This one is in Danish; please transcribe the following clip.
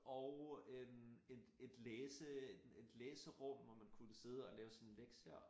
Og en et et læse et læserum hvor man kunne sidde og lave sine lektier